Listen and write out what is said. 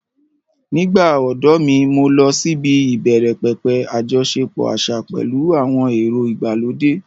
Nígbà odo mi, mo lọ síbi ìbẹ̀rẹ̀pẹ̀pẹ̀ àjọṣepọ̀ àṣà pẹ̀lú àwọn èrò ìgbàlódé.